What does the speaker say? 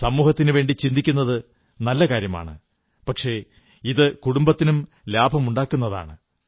സമൂഹത്തിനുവേണ്ടി ചിന്തിക്കുന്നത് നല്ല കാര്യമാണ് പക്ഷേ ഇത് കുടുംബത്തിനും ലാഭമുണ്ടാക്കുന്നതാണ്